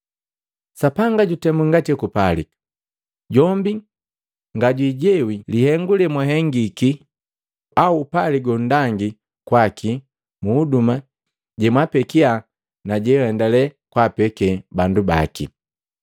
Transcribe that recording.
Sapanga jutemu ngati hekupalika; jombi ngajwijewi lihengu lemwahengiki au upali gonndangi kwakii mu huduma jemwaapekia na jenhendale kwaapeke bandu baki.